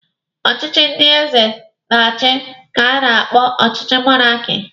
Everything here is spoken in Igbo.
Ọchịchị ndị eze na-achi ka a na-akpọ ọchịchị monaki.